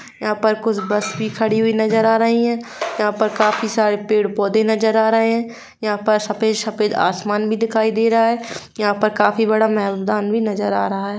यहाँ पर कुछ बस भी खड़ी हुई नजर आ रही हैयहाँ पर काफी सारे पेड़-पौधे नजर आ रहे है यहाँ पर सफेद-सफेद आसमान भी दिखाई दे रहा है यहाँ पर काफी बड़ा मैदान भी नजर आ रहा है।